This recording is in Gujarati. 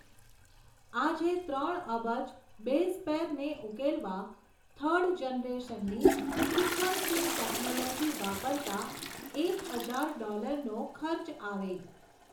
આજે ત્રણ અબજ બેઝપેરને ઉકેલવા, થર્ડ જનરેશનની સિકવન્સીંગ ટેકનોલોજી વાપરતાં, એક હજાર ડોલરનો ખર્ચ આવે.